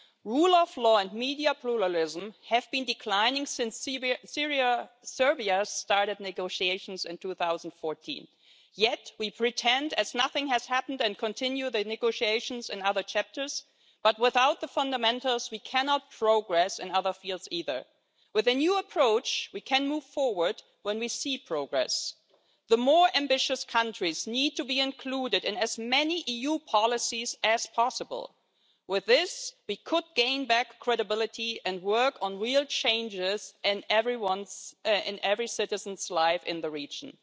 Rule of law and media pluralism have been declining since Serbia started negotiations in 2014, yet we pretend as if nothing has happened and continue the negotiations and other chapters, but without the fundamentals we cannot progress in other fields either. With a new approach, we can move forward when we see progress. The more ambitious countries need to be included in as many EU policies as possible. With this, we could gain back credibility and work on real changes in every citizen's life in the region.